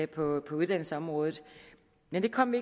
på uddannelsesområdet men det kom vi